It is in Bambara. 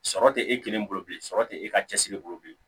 Sɔrɔ tɛ e kelen bolo bilen sɔrɔ tɛ e ka cɛsiri bolo bilen